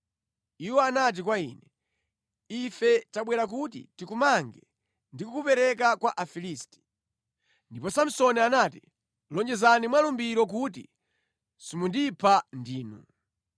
Iwo anati kwa iye, “Ife tabwera kuti tikumange ndi kukupereka kwa Afilisti.” Ndipo Samsoni anati, “Lonjezani mwa lumbiro kuti simundipha ndinu.”